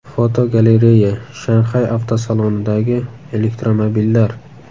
Fotogalereya: Shanxay avtosalonidagi elektromobillar.